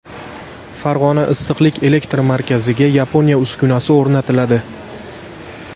Farg‘ona issiqlik elektr markaziga Yaponiya uskunasi o‘rnatiladi.